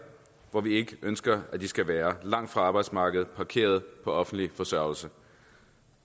hvor vi ikke ønsker at de skal være langt fra arbejdsmarkedet parkeret på offentlig forsørgelse